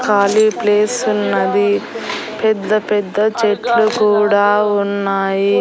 ఖాళీ ప్లేసున్నది పెద్ద పెద్ద చెట్లు కూడా ఉన్నాయి.